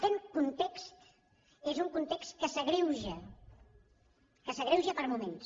aquest context és un context que s’agreuja que s’agreuja per moments